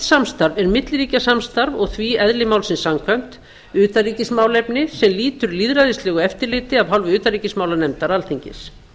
er milliríkjasamstarf og því eðli málsins samkvæmt utanríkismálefni sem lýtur lýðræðislegu eftirliti af hálfu utanríkismálanefndar alþingis